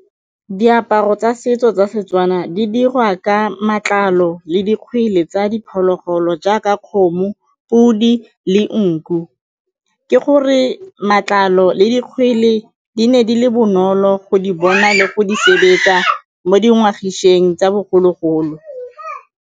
Diaparo tsa setso tsa Setswana di diriwa ka matlalo le dikgwele tsa diphologolo jaaka kgomo, podi le nku. Ke gore matlalo le dikgwele di ne di le bonolo go di bona le go di sebetsa mo tsa bogologolo.